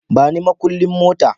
Bani makullin mota